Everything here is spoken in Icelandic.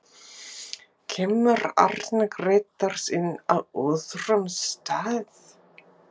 Kemur Arnar Grétars inn á öðrum stað?